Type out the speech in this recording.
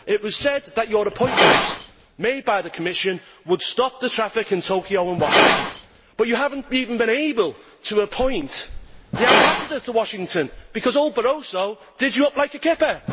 It was said that your appointment, made by the Commission, would stop the traffic in Tokyo and Washington. But you have not even been able to appoint the Ambassador to Washington because old Barroso did you up like a kipper!